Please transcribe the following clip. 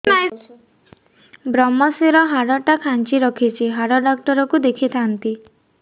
ଵ୍ରମଶିର ହାଡ଼ ଟା ଖାନ୍ଚି ରଖିଛି ହାଡ଼ ଡାକ୍ତର କୁ ଦେଖିଥାନ୍ତି